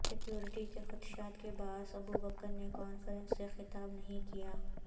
security کے خدشات کے باعث ابو بکر نے کانفرنس سے خطاب نہیں کیا